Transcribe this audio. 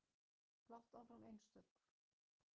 Blátt áfram einstök.